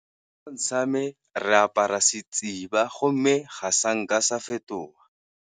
sa me re apara go mme ga sa nka sa fetoga.